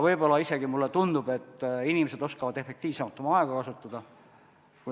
Võib-olla isegi, mulle tundub, inimesed oskavad efektiivsemalt oma aega kasutada.